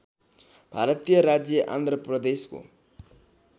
भारतीय राज्य आन्ध्र प्रदेशको